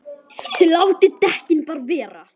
ÞIÐ LÁTIÐ DEKKIN BARA VERA!